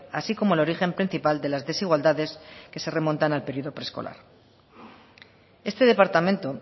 así como el origen principal de las desigualdades que se remontan al periodo preescolar este departamento